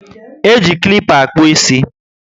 E ji klipper akpu isi